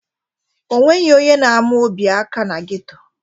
O nweghi onye na-ama Obi aka na geto.